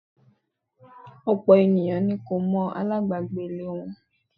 Ọ̀pọ̀ ènìyàn ni kò mọ alabagbe lè wọn.